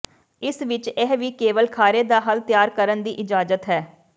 ਇਸ ਵਿਚ ਇਹ ਵੀ ਕੇਵਲ ਖਾਰੇ ਦਾ ਹੱਲ ਤਿਆਰ ਕਰਨ ਦੀ ਇਜਾਜ਼ਤ ਹੈ